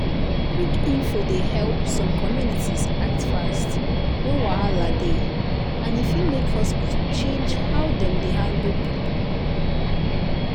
quick info dey help some communities act fast when wahala dey and e fit make hospital change how dem dey handle people.